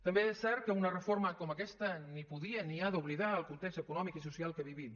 també és cert que una reforma com aquesta ni podia ni ha d’oblidar el context econòmic i social que vivim